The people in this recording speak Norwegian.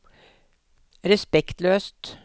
respektløst